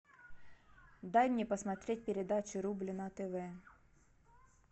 дай мне посмотреть передачу рубль на тв